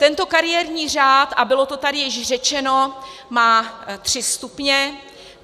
Tento kariérní řád, a bylo to tady již řečeno, má tři stupně.